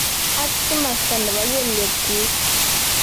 Ak kimasta nebo keliekchik.